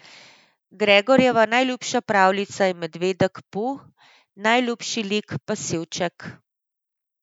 Gregorjeva najljubša pravljica je Medved Pu, najljubši lik pa Sivček.